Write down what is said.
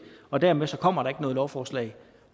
og dermed kommer der ikke noget lovforslag